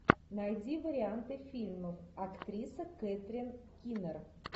найди варианты фильмов актриса кэтрин кинер